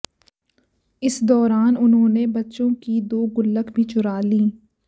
इस दौरान उन्होंने बच्चों की दो गुल्लक भी चुरा लीं